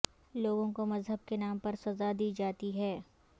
لوگوں کو مذہب کے نام پر سزا دی جاتی ہے